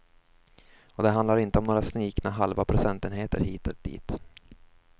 Och det handlar inte om några snikna halva procentenheter hit och dit.